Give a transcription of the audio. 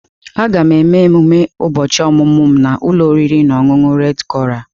Aga m eme ememe ụbọchị ọmụmụ m na ụlọ oriri na ọṅụṅụ Redi koral.